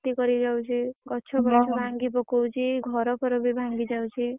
କ୍ଷତି କରିଯାଉଛି। ଗଛ ବଛ ଭାଙ୍ଗି ପକଉଛି ଘର ଫର ବି ଭାଂଙ୍ଗିଯାଉଛି।